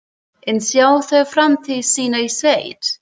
En sjá þær framtíð sína í sveit?